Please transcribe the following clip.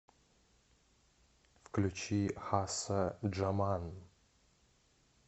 включи хасса джаман